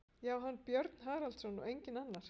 Já, hann, Björn Haraldsson, og enginn annar!